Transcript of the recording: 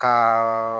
Ka